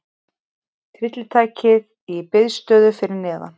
Tryllitækið í biðstöðu fyrir neðan.